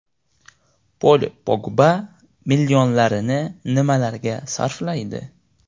Pol Pogba millionlarini nimalarga sarflaydi?.